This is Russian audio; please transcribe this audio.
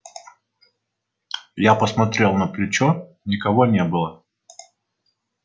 я посмотрел на плечо никого не было